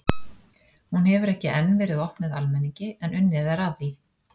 Hún hefur enn ekki verið opnuð almenningi en unnið er að því.